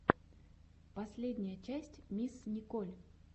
последняя часть мисс николь